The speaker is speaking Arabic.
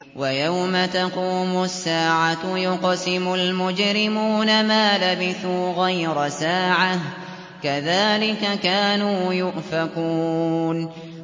وَيَوْمَ تَقُومُ السَّاعَةُ يُقْسِمُ الْمُجْرِمُونَ مَا لَبِثُوا غَيْرَ سَاعَةٍ ۚ كَذَٰلِكَ كَانُوا يُؤْفَكُونَ